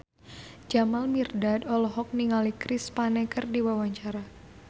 Jamal Mirdad olohok ningali Chris Pane keur diwawancara